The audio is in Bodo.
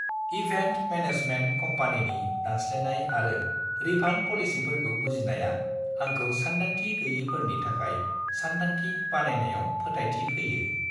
इभेन्ट मेनेजमेन्ट कम्पानिनि दानस्लायनाय आरो रिफान्ड पलिसिफोरखौ बुजिनाया आंखौ सानदांथि गैयैफोरनि थाखाय सानथांखि बानायनायाव फोथायथि होयो।